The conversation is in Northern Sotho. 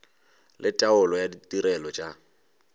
le taolo ya ditirelo tša